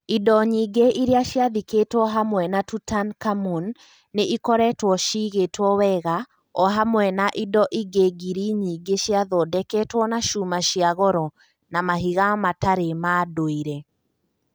Indo nyingĩ iria ciathikĩtwo hamwe na Tutankhamun nĩ ikoretwo cigĩtwo wega, o hamwe na indo ingĩ ngiri nyingĩ ciathondeketwo na cuma cia goro na mahiga matarĩ ma ndũire.